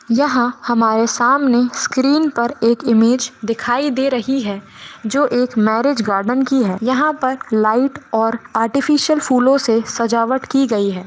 यहा हमारे सामने स्क्रीन पर एक इमेज दिखाई दे रही है जो एक मैरेज गार्डेन की है यहा पर लाइट और आर्टिफ़िश्यल फूलो से सजावट की गई है।